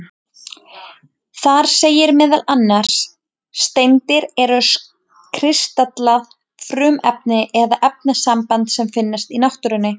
Þar segir meðal annars: Steindir eru kristallað frumefni eða efnasamband sem finnst í náttúrunni.